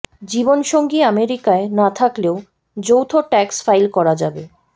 জীবনসঙ্গী আমেরিকায় না থাকলেও যৌথ ট্যাক্স ফাইল করা যাবে